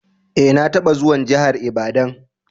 Eh, na taba zuwan jihar lbadan.